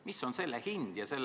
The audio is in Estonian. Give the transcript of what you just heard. Mis on selle hind?